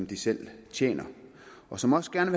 de selv tjener og som også gerne